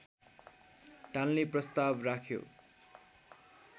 टाल्ने प्रस्ताव राख्यो